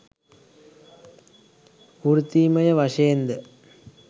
වෘත්තීමය වශයෙන් ද?